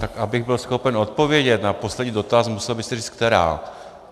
Tak abych byl schopen odpovědět na poslední dotaz, musel byste říct která.